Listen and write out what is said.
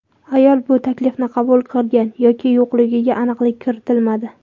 Ayol bu taklifni qabul qilgan yoki yo‘qligiga aniqlik kiritilmadi.